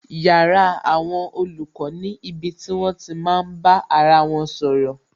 Yàrá àwọn olùkọ́ ni ibi tí wón ti máa bá ara wọn sọ̀rọ̀